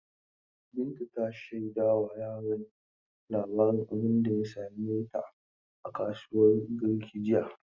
Binta ta shaida wa yaran labarin abunda ya same ta a kasuwan Garki jiya.